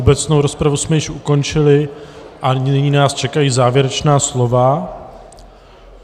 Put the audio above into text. Obecnou rozpravu jsme již ukončili a nyní nás čekají závěrečná slova.